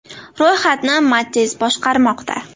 Ro‘yxatni Matiz boshqarmoqda.